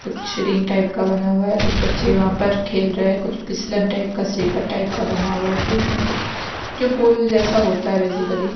कुच्छ ring type का बना हुआ है कुछ बच्चे वहां पर खेल रहे कुछ पिसलन टाइप का स्लीपर टाइप का बना हुआ है पुल में जो पुल जैसा होता है बेसिकली ।